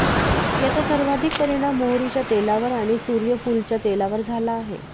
याचा सर्वाधिक परिणाम मोहरीच्या तेलावर आणि सूर्यफूलच्या तेलावर झाला आहे